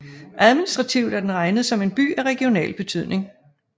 Administrativt er den regnet som en By af regional betydning